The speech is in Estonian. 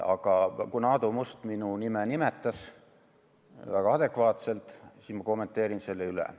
Aga kuna Aadu Must minu nime nimetas, väga adekvaatselt, siis ma kommenteerin selle üle.